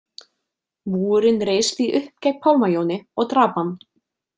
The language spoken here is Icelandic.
Múgurinn reis því upp gegn Pálma Jóni og drap hann.